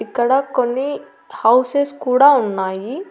ఇక్కడ కొన్ని హౌసెస్ కూడా ఉన్నాయి.